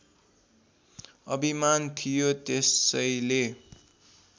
अभिमान थियो त्यसैले